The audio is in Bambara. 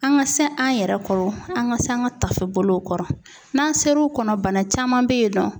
An ka se an yɛrɛ kɔrɔ ,an ka se an ka tafe bolow kɔrɔ ,n'an sera o kɔrɔ, bana caman bɛ yen nɔ